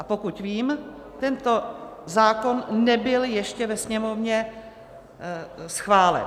A pokud vím, tento zákon nebyl ještě ve Sněmovně schválen.